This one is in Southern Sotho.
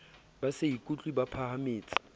ba se ikutlwe ba phahametse